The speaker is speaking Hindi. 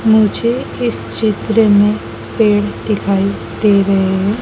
मुझे इस चित्र में पेड़ दिखाई दे रहे है।